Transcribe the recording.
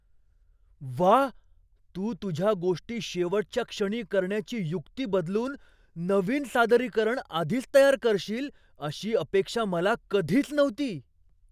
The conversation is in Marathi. व्वा! तू तुझ्या गोष्टी शेवटच्या क्षणी करण्याची युक्ती बदलून नवीन सादरीकरण आधीच तयार करशील अशी अपेक्षा मला कधीच नव्हती.